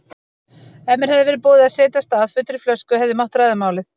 Ef mér hefði verið boðið að setjast að fullri flösku hefði mátt ræða málið.